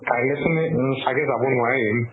কাইলে চোন চাগে যাব নোৱাৰিম